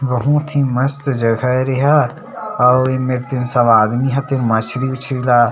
बहुत ही मस्त जगह हरे ये ह आऊ ये मेर तेन सब आदमी ह तेन मछरी उछरी ला--